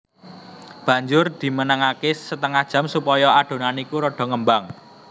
Banjur dimenengake setengah jam supaya adonan iku rada ngembang